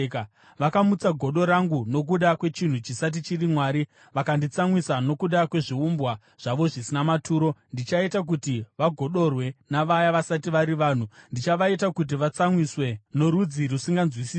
Vakamutsa godo rangu nokuda kwechinhu chisati chiri Mwari, vakanditsamwisa nokuda kwezviumbwa zvavo zvisina maturo. Ndichaita kuti vagodorwe navaya vasati vari vanhu; ndichavaita kuti vatsamwiswe norudzi rusinganzwisisi.